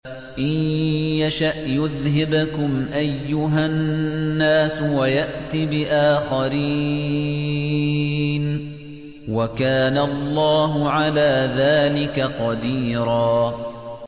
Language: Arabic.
إِن يَشَأْ يُذْهِبْكُمْ أَيُّهَا النَّاسُ وَيَأْتِ بِآخَرِينَ ۚ وَكَانَ اللَّهُ عَلَىٰ ذَٰلِكَ قَدِيرًا